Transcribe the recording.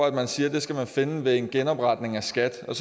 man siger man skal finde ved en genopretning af skat jeg